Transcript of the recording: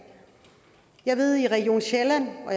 jeg ved at i region sjælland og